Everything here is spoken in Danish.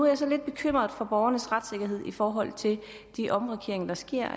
jeg så lidt bekymret for borgernes retssikkerhed i forhold til de omrokeringer der sker